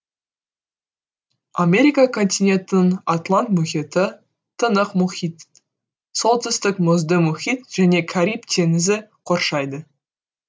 америка континентін атлант мұхиты тынық мұхит солтүстік мұзды мұхит және кариб теңізі қоршайды